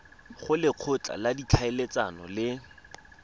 go lekgotla la ditlhaeletsano le